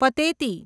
Pateti